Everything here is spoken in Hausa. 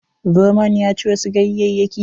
Zomon ya ci wasu ganyayyaki.